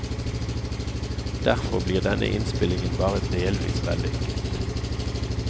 Derfor blir denne innspillingen bare delvis vellykket.